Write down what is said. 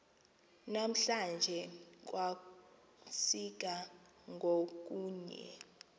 namhlanje kwasika ngokunye